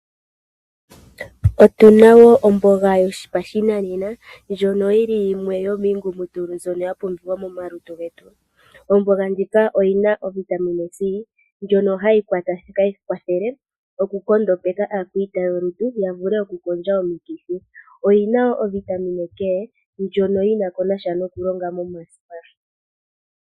Otu na omboga yopashinanena ndjoka yi li yimwe yomiingumutulu mbyono ya pumbiwa momalutu getu. Omboga ndjika oyi na ovitamin c ndjono hayi kwathele okunkondopeka aakwita yolutu ya vule okukondjitha omikithi. Oyi na wo ovitamin k ndjono yi na sha nokulonga momasipa.